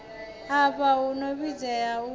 afha hu no vhidzwa u